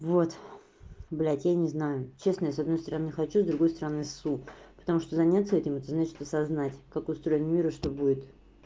вот блять я не знаю честно я с одной стороны хочу с другой стороны ссу потому что заняться этим это значит осознать как устроен мир и что будет